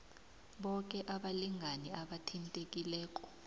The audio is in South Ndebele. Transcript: boke abalingani abathintekileko